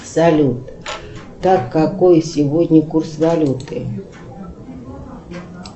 салют так какой сегодня курс валюты